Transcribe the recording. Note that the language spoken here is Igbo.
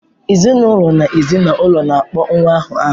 Ezinụlọ na ezi na ụlọ na-akpọ nwa ahụ aha.